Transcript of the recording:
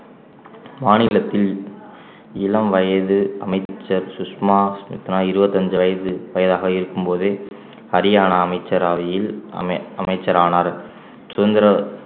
மாநிலத்தில் இளம் வயது அமைச்சர் சுஷ்மா சுமித்ரா இருபத்தி அஞ்சு வயது வயதாக இருக்கும்போது ஹரியானா அமைச்சரவையில் அமை~ அமைச்சரானார் சுதந்திர